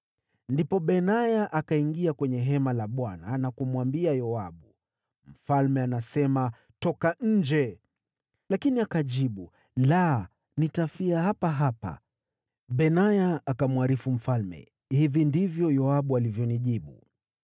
Ndipo Benaya akaingia kwenye hema la Bwana na kumwambia Yoabu, “Mfalme anasema, ‘Toka nje!’ ” Lakini akajibu, “La! Nitafia hapa hapa.” Benaya akamwarifu mfalme, “Hivi ndivyo Yoabu alivyonijibu.”